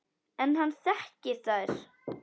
En hann þekkir þær.